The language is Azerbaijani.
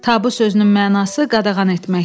Tabu sözünün mənası qadağan etməkdir.